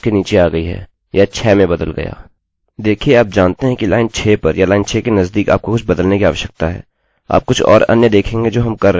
देखिये आप जानते हैं कि लाइन 6 पर या लाइन 6 के नज़दीक आपको कुछ बदलने की आवश्यकता है आप कुछ और अन्य देखेंगे जो हम कर रहे हैं कुछ वास्तविक लाइन एररerror नहीं दे रहे हैं